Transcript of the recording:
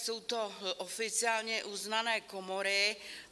Jsou to oficiálně uznané komory.